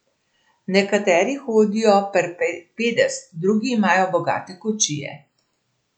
Nekateri hodijo per pedes, drugi imajo bogate kočije.